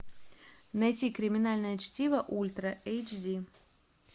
найти криминальное чтиво ультра эйч ди